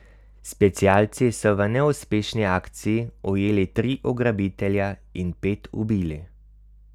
Specialci so v neuspešni akciji ujeli tri ugrabitelje in pet ubili.